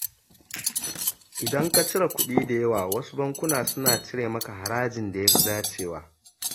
Idan ka cire kuɗi da yawa, wasu bankuna suna cire maka harajin da ya fi dacewa.